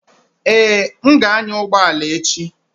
Ee, m ga-anya ụgbọ ala echi.